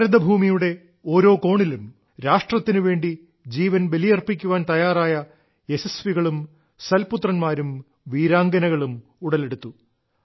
ഭാരതഭൂമിയുടെ ഓരോ കോണിലും രാഷ്ട്രത്തിനുവേണ്ടി ജീവൻ ബലിയർപ്പിക്കാൻ തയ്യാറായ യശസ്വികളും സൽപുത്ര•ാരും വീരാംഗനകളും ഉടലെടുത്തു